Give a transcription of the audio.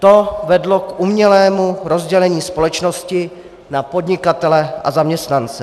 To vedlo k umělému rozdělení společnosti na podnikatele a zaměstnance.